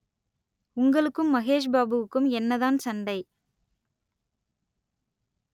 உங்களுக்கும் மகேஷ் பாபுவுக்கும் என்னதான் சண்டை